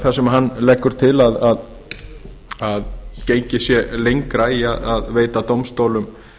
þar sem hann leggur til að gengið sé lengra í að veita dómstólum